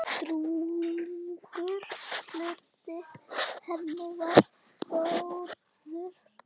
Drjúgur hluti hennar var Þórður.